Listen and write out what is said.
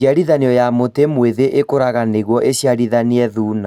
Njiarithanio ya mũtĩ mwĩthĩ ĩkũraga nĩguo iciarithanie thuna